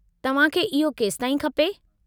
तव्हां खे इहो केसिताईं खपे?